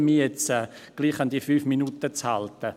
Ich versuche nun, mich trotzdem an die fünf Minuten zu halten.